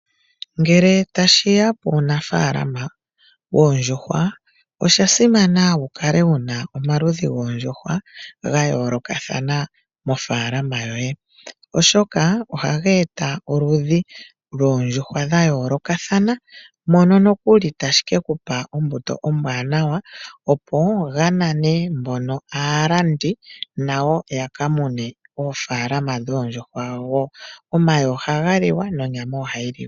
Ngele tashi ya puunafaalama woondjuhwa osha simana wu kale wu na omaludhi goondjuhwa ga yoolokathana mofaalama yoye, oshoka ohaga eta oludhi lwoondjuhwa dha yoolokathana. Moka nokuli tashi ke ku pa ombuto ombwaanawa opo ga nane mbono aalandi nayo ya ka mune oofaalaama dhoondjuhwa wo. Omayi ohaga liwa nonyama ohayi liwa.